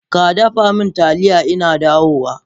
Kadafa min taliya innadawo!